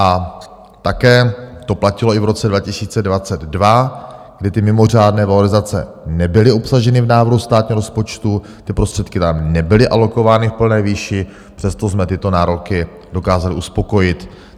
A také to platilo i v roce 2022, kdy ty mimořádné valorizace nebyly obsaženy v návrhu státního rozpočtu, ty prostředky tam nebyly alokovány v plné výši, přesto jsme tyto nároky dokázali uspokojit.